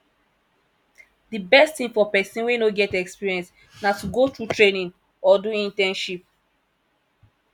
di best thing for persin wey no get experience na to go through training or do internship